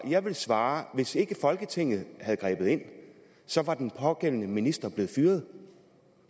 jeg ville svare at hvis ikke folketinget havde grebet ind så var den pågældende minister blevet fyret